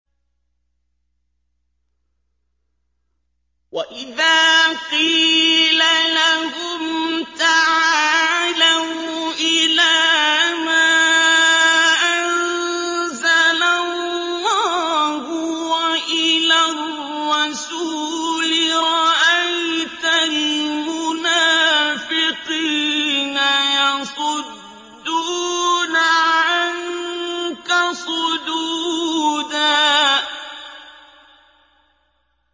وَإِذَا قِيلَ لَهُمْ تَعَالَوْا إِلَىٰ مَا أَنزَلَ اللَّهُ وَإِلَى الرَّسُولِ رَأَيْتَ الْمُنَافِقِينَ يَصُدُّونَ عَنكَ صُدُودًا